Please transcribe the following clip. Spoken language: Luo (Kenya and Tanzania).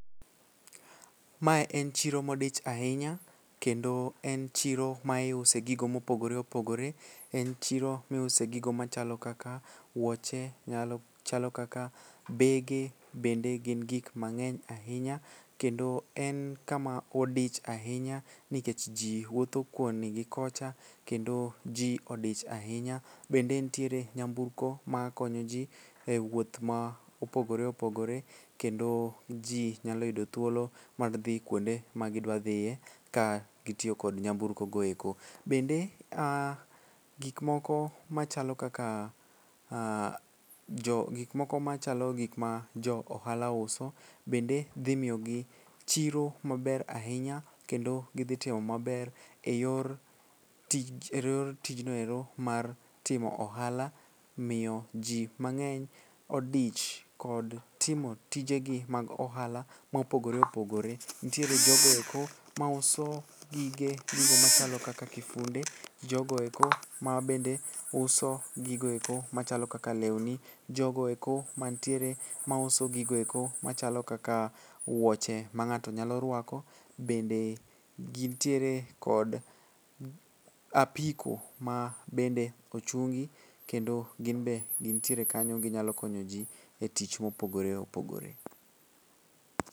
Mae en chiro modich ahinya kendo en chiro ma iuse gigo mopogore opogore, en chiro miuse gigo machalo kaka wuoche, machalo kaka bege bende gin gik mang'eny ahinya kendo en kama odich ahinya nikech ji wuotho koni gi kocha kendo ji odich ahinya. Bende ntiere nyamburko makonyo ji e wuoth ma opogore opogore kendo ji nyalo yudo thuolo mag dhi kuonde magidwadhiye kagitiyo kod nyamburkogo eko. Bende ah gikmoko machalo gikma jo ohala uso bende dhi miyogi chiro maber ahinya kendo gidhitimo maber e yor tijno ero mar timo ohala miyo ji mang'eny odich kod timo tijegi mag ohala mopogore opogore. Ntiere jogo eko mauso gigo machalo kaka kifunde, jogoeko mabende uso gigoeko machalo kaka lewni, jogoeko mantiere mauso gigoeko machalo kaka wuoche ma ng'ato nyalo rwako, bende gintiere kod apiko ma bende ochungi kendo gin be gintiere kanyo ginyalo konyo ji e tich mopogore opogore.